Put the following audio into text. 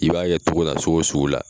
I b'a kɛ togo la sogo sugu la